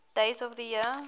days of the year